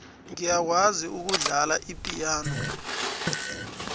ngiyakwazi ukudlala ipiyano